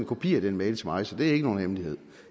kopi af den mail til mig så det var ikke nogen hemmelighed